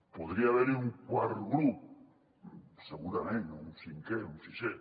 podria haver hi un quart grup segurament o un cinquè o un sisè